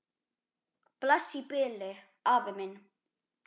Bless í bili, afi minn.